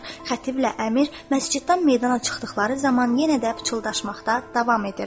Xətiblə əmir məsciddən meydana çıxdıqları zaman yenə də pıçıldaşmaqda davam etdilər.